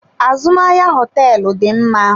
Azụmahịa hoteelu dị mma.